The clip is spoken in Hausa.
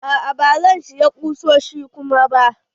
A'a ba zan siya ƙusoshi kuma ba.